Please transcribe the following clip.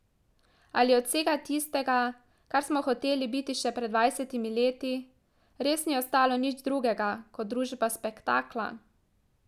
Ali od vsega tistega, kar smo hoteli biti še pred dvajsetimi leti, res ni ostalo nič drugega kot družba spektakla?